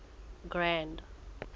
grand